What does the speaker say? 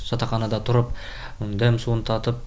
жатақханада тұрып дәм суын татып